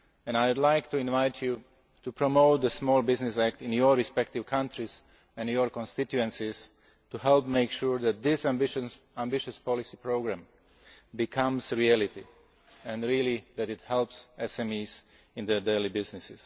I would like to invite you to promote the Small Business Act in your respective countries and your constituencies to help make sure that this ambitious policy programme becomes reality and that it really helps SMEs in their daily business.